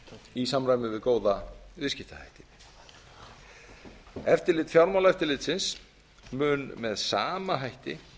í samræmi við góða viðskiptahætti eftirlit fjármálaeftirlitsins mun með sama hætti